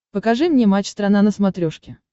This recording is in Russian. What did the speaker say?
покажи мне матч страна на смотрешке